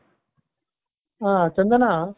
ಹಾ ಚಂದನ.